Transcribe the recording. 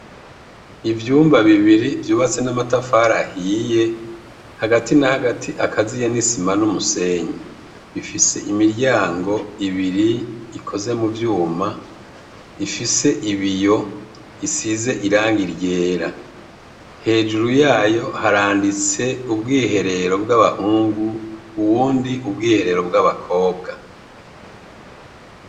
Ivyumba bibiri vyubatse n' amatafari ahiye, hagati na hagati akaziye n' isima n' umusenyi . Bifise imiryango ibiri ikoze mu vyuma , ifise ibiyo, isize irangi ryera . Hejuru yayo haranditse ubwiherero bw' abahungu, uwundi ubwiherero bw' abakobwa.